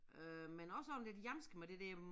Øh men også sådan lidt hjamske med det der hm